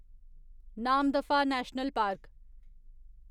Namdapha national park